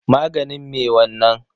Maganin me wanna?